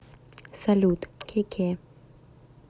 салют кеке